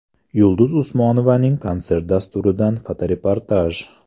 Yulduz Usmonovaning konsert dasturidan fotoreportaj.